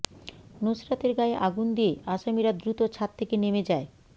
নুসরাতের গায়ে আগুন দিয়ে আসামিরা দ্রুত ছাদ থেকে নেমে যায়